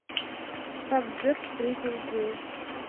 как джек встретил джилл